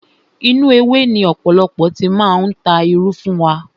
Inú ewé ni ọ̀pọ̀lọpọ̀ ti máa ń ta irú fún wa.